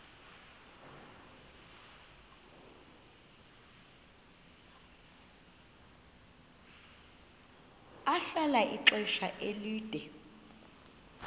ahlala ixesha elide